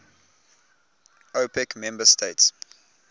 opec member states